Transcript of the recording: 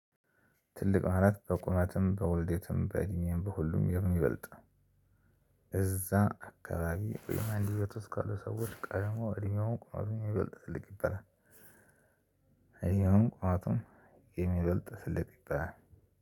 ትልቅ ማለት በቁመትም በውልደትም በእድሜም በሁሉም የሚበልጥ እዛ አካባቢ ወይም አንድ ቤት ውስጥ ካሉ ሰዎች ቀድሞ እድሜውም ቁመቱም የሚበልጥ ትልቅ ይበላል እድሜውም ቁመቱም የሚበልጥ ትልቅ ይባላል።